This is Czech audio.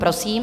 Prosím.